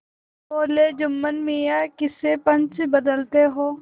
बोलेजुम्मन मियाँ किसे पंच बदते हो